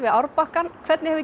árbakkann hvernig hefur